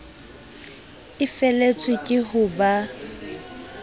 e feletswe ke ho ba